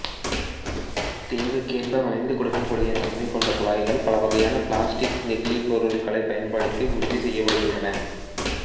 தேவைக்கேற்ப வளைந்து கொடுக்கக்கூடிய தன்மை கொண்ட குழாய்கள் பலவகையான பிளாஸ்டிக்குப் நெகிழிப் பொருட்களை பயன்படுத்தி உற்பத்தி செய்யப்படுகின்றன